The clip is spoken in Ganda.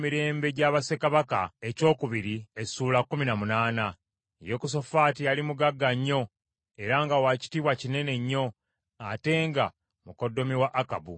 Yekosafaati yali mugagga nnyo era nga wa kitiibwa kinene nnyo, ate nga mukoddomi wa Akabu.